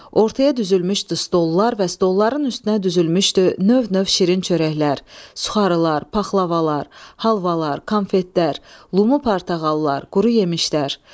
Ortaya düzülmüşdü stollar və stolların üstünə düzülmüşdü növ-növ şirin çörəklər: suxarılar, paxlavalar, halvalar, konfetlər, lumu-portağallar, quru yemişlər.